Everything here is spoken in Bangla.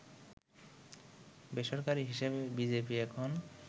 বেসরকারি হিসাবে বিজেপি এখন